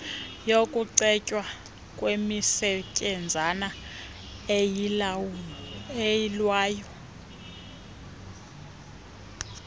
yokucetywa kwemisetyenzana eyilwayo